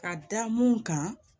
Ka da mun kan